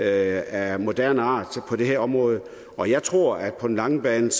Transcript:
af moderne art på det her område og jeg tror at på den lange bane